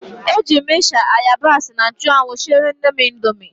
E jiiri m ịsha, ayabas na nchụanwụ siere nnem indomi.